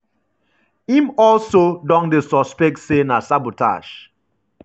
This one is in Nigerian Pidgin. im also don dey suspect say na sabotage.